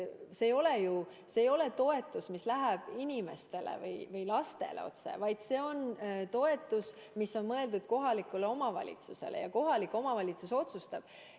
See ei ole ju toetus, mis läheb inimestele või lastele otse, vaid see on toetus, mis on mõeldud kohalikule omavalitsusele, ja kohalik omavalitsus otsustab.